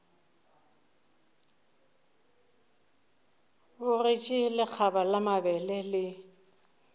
bogetše lekgaba la mabele le